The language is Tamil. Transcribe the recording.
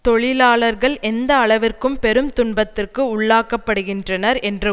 தொழிலாளர்கள் எந்த அளவிற்கு பெரும் துன்பத்திற்கு உள்ளாக்கப்படுகின்றனர் என்ற